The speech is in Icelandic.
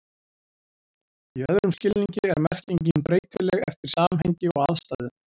Í öðrum skilningi er merkingin breytileg eftir samhengi og aðstæðum.